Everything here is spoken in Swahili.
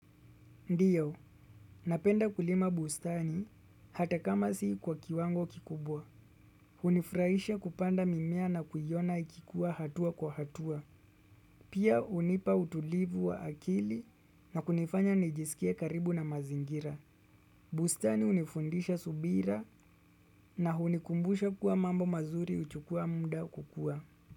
Ndiyo, napenda kulima bustani hata kama si kwa kiwango kikubwa. Hunifurahisha kupanda mimea na kuiona ikikua hatua kwa hatua. Pia hunipa utulivu wa akili na kunifanya nijisikie karibu na mazingira. Bustani hunifundisha subira na hunikumbusha kuwa mambo mazuri huchukua muda kukua.